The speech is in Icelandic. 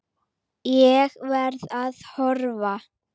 Ég verð að horfa.